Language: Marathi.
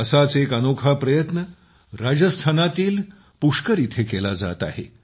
असाच एक अनोखा प्रयत्न राजस्थानातील पुष्कर येथे केला जात आहे